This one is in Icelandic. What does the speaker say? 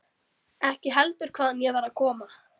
Ekki heldur hvaðan ég var að koma.